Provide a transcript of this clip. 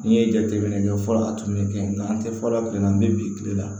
N'i ye jateminɛ kɛ fɔlɔ a tun bɛ kɛ n'an tɛ fɔlɔ kile na an bɛ bi kile la